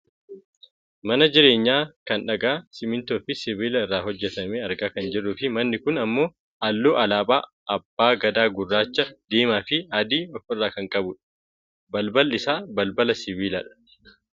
mana jireenyaa kan dhagaa simmintoofi sibiila irraa hojjatame argaa kan jirruufi manni kun ammoo halluu alaabaa abbaa gadaa gurraacha, diimaa fi adii of irraa kan qabudha. balballi isaa balbala sibiilaadha.